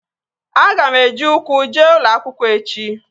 Aga m eji ukwu jee ụlọ akwụkwọ echi